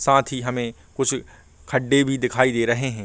सांथ ही हमें कुछ खडे भी दिखाई दे रहे हैं।